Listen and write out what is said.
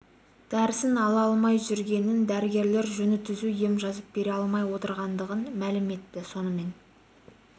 дәрісін ала алмай жүргенін дәрігерлер жөні түзу ем жазып бере алмай отырғандығын мәлім етті сонымен